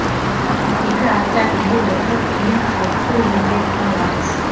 екі апта үйде отырып кейін қалыпты өмірге ораламыз